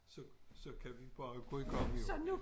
Så så kan vi bare gå i gang jo